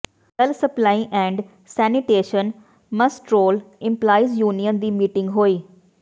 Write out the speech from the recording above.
ਜਲ supply and sanitation muster roll employees union ਦੀ meeting ਹੋਈ